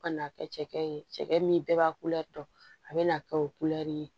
Ka na kɛ cɛkɛ ye cɛkɛ min bɛɛ b'a dɔn a bɛ n'a kɛ o kulɛri ye